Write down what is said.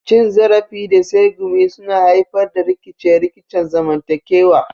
Cin zarafi da tsegumi suna haifar da rikice-rikicen zamantakewa.